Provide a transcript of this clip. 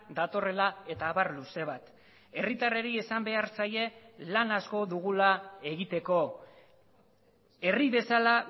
datorrela eta abar luze bat herritarrei esan behar zaie lan asko dugula egiteko herri bezala